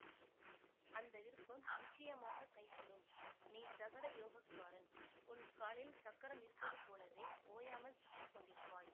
அந்த விருப்பம் நிச்சயமாகக் கைகூடும் நீ சகடயோகக்காரன் உன் காலில் சக்கரம் இருப்பது போலவே ஓயாமல் சுற்றி கொண்டிருப்பாய்